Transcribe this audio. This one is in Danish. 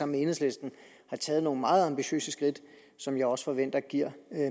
med enhedslisten har taget nogle meget ambitiøse skridt som jeg også forventer giver